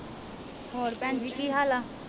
ਹੋਰ ਭੈਣਜੀ ਕੀ ਹਾਲ ਆ?